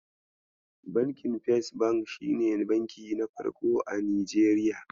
Bankin First bank shine banki na farko a Nijeriya.